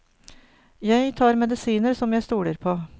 Jeg tar medisiner som jeg stoler på.